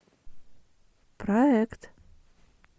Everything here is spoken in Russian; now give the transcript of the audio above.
проект